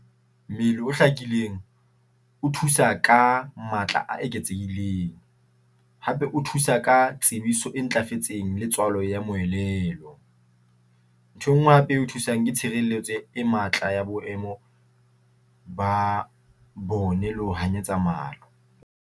O hlakileng o thusa ka matla a eketsehileng hape o thusa ka tsebiso e ntlafetseng le tswalo ya moelelo. Ntho e nngwe hape e o thusang, ke tshireletso e matla ya boemo ba bone le ho hanyetsa .